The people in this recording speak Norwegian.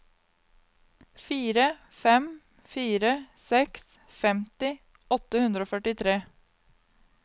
fire fem fire seks femti åtte hundre og førtitre